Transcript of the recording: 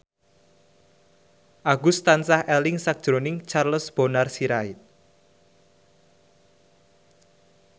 Agus tansah eling sakjroning Charles Bonar Sirait